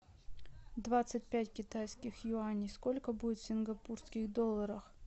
двадцать пять китайских юаней сколько будет в сингапурских долларах